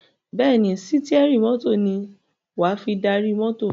Bẹ́ẹ̀ ni, sítíẹ́rì mọ́tò ní wà á fi darí mọ́tò.